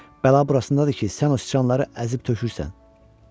Bəla burasındadır ki, sən o siçanları əzib tökürsən.